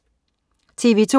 TV2: